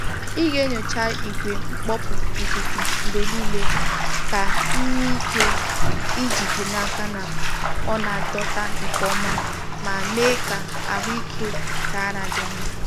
Ị ga-enyocha igwe mkpọpu ikuku mgbe niile ka ị nwee ike ijide n’aka na ọ na-adọta nke ọma ma mee ka ahụ ike nke ara dị mma.